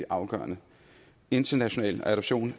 afgørende international adoption